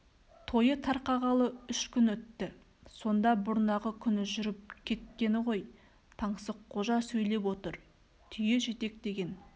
тойы тарқағалы үш күн өтті сонда бұрнағы күні жүріп кеткені ғой таңсыққожа сөйлеп отыр түйе жетектеген